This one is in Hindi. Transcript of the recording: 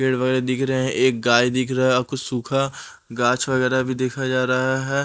पेड़ वगैरा दिख रहे हैं एक गाय दिख रहा है और कुछ सूखा गाँच वगैरा भी देखा जा रहा है ।